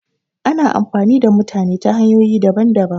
Ana amfani da mutane ta hanyoyi daban daban